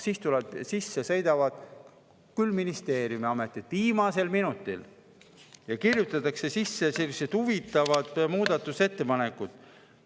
Ministeeriumid, ametid tulevad viimasel minutil ja kirjutatakse sisse huvitavad muudatusettepanekud.